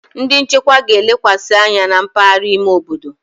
Ndi nchekwa ga-elekwasị anya na mpaghara ime obodo.